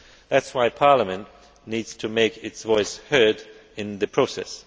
That is why Parliament needs to make its voice heard in the process.